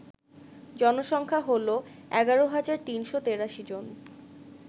জনসংখ্যা হল ১১৩৮৩ জন